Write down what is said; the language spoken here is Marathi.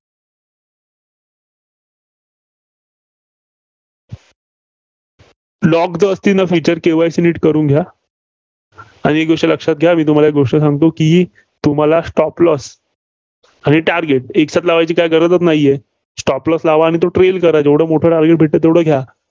lock जस असतील ना Feature तर KYC नीट करून घ्या. आणि एक गोष्ट लक्षात घ्या. मी तुम्हाला एक गोष्ट सांगतो की तुम्हाला stop loss आणि target एक साथ लावायची काय गरजच नाहीये. Stop losee लावा आणि तो trail करा. जेवढं मोठं taget भेटतं तेवढ घ्या.